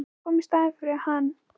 Að koma í staðinn fyrir hann?